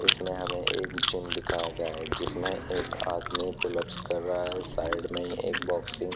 इसमें हमें एक जिम दिखाया गया है जिसमें एक आदमी फूल लैप्स कर रहा है साइड में एक बॉक्सिंग --